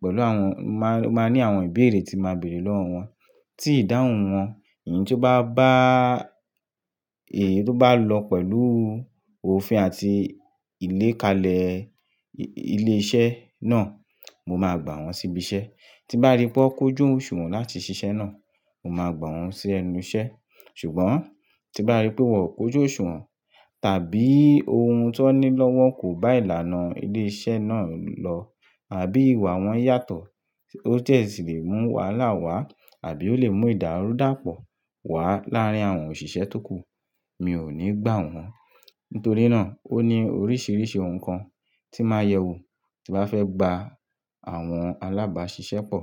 pẹ̀lú àwọn, máa, máa ní àwọn ìbéèrè tí màá bèèrè lọ́wọ́ wọn, tí ìdáhùn wọn, èyí tó bá, bá èyí tó bá lọ pẹ̀lú òfin àti ìlékalẹ̀ ilé iṣẹ́ náà, mo máa gbà wọ́n síbi iṣẹ́. Tí n bá rí pé wọ́n kojú òṣùwọ̀n láti ṣiṣẹ́ náà, mo máa gbà wọ́n sí ẹnu iṣẹ́. Ṣùgbọ́n tí bá rí pé wọ́n ò kóju òṣùwọ̀n tàbí ohun tó ní lowọ́ kò bá ìlànà ilé iṣẹ́ náà lọ àbí ìwà wọn yàtọ̀, ó dẹ́ ṣì lè mú wàhálà wá àbí ó lè mú ìdàrúdàpọ̀ wá láàrín àwọn òṣìṣẹ́ tókù, mi ò ní gbà wọ́n. Nítorí náà ó ní oríṣiríṣi ohun kan tí máa yẹ wù tí n bà fẹ́ gba àwọn alábáṣiṣẹ́ pọ̀